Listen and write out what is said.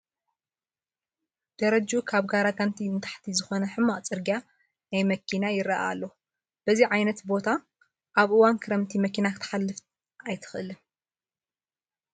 ደረጅኡ ካብ ጋራጋንቲ ንታሕቲ ዝኾነ ሕማቕ ፅርጊያ ናይ መኪና ይርአ ኣሎ፡፡ በዚ ዓይነት ቦታ ኣብ እዋን ክረምቲ መኪና ክትሓልፍ ኣይትኽእልን፡፡